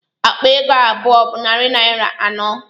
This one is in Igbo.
Akpa ego abụọ bụ narị naira anọ